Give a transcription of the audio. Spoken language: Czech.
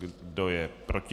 Kdo je proti?